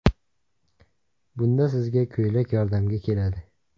Bunda sizga ko‘ylak yordamga keladi.